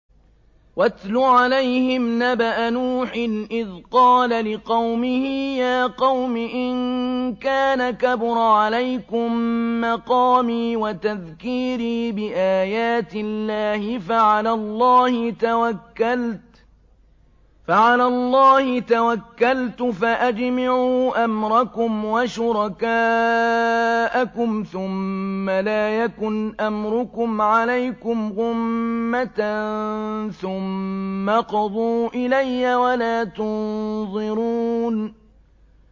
۞ وَاتْلُ عَلَيْهِمْ نَبَأَ نُوحٍ إِذْ قَالَ لِقَوْمِهِ يَا قَوْمِ إِن كَانَ كَبُرَ عَلَيْكُم مَّقَامِي وَتَذْكِيرِي بِآيَاتِ اللَّهِ فَعَلَى اللَّهِ تَوَكَّلْتُ فَأَجْمِعُوا أَمْرَكُمْ وَشُرَكَاءَكُمْ ثُمَّ لَا يَكُنْ أَمْرُكُمْ عَلَيْكُمْ غُمَّةً ثُمَّ اقْضُوا إِلَيَّ وَلَا تُنظِرُونِ